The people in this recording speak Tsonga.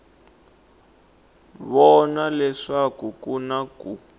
vona leswaku ku na ku